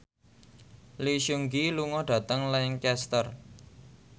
Lee Seung Gi lunga dhateng Lancaster